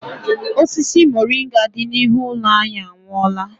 Osisi moringa dị n'ihu ụlọ anyị anwụọọla.